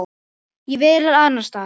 Ég var alls staðar.